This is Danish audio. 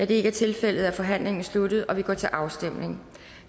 det ikke er tilfældet er forhandlingen sluttet og vi går til afstemning